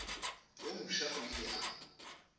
yo mofsa o ile a